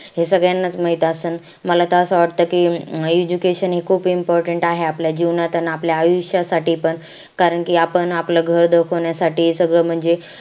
हे सगळ्यांना च माहित असेल मला तर असं वाटत कि education हे खूप important आहे आपल्या जीवनात अन आपल्या आयुष्यासाठी पण कारण कि आपण आपलं घर धकावण्या साठी सगळं म्हणजे